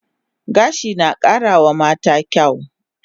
Gashi na kara wa mata kyaw